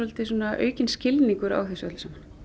aukinn skilningur á þessu öllu saman